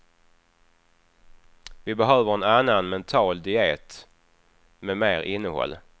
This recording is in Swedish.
Vi behöver en annan mental diet med mer innehåll.